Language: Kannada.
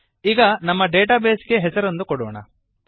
ಈಗ ನಮ್ಮ ಡೇಟಾ ಬೇಸ್ ಗೆ ಹೆಸರೊಂದನ್ನು ಕೊಡೋಣ